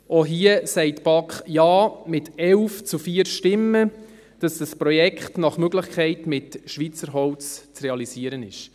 Auch hier sagt die BaK Ja mit 11 zu 4 Stimmen, damit das Projekt nach Möglichkeit mit Schweizer Holz zu realisieren ist.